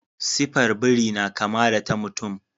Sifar biri na kama da ta mutum.